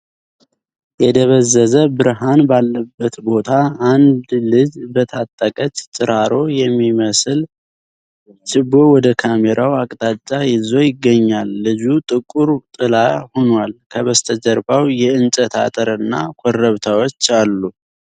የደበዘዘ ብርሃን ባለበት ቦታ፣ አንድ ልጅ በተቃጠለች ጭራሮ የሚመስል ችቦ ወደ ካሜራው አቅጣጫ ይዞ ይገኛል። ልጁ ጥቁር ጥላ ሆኗል፤ ከበስተጀርባ የእንጨት አጥር እና ኮረብታዎች አሉ።